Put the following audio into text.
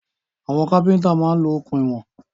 Àwọn kápẹ́ntà máa ń lo okùn ìwọ̀n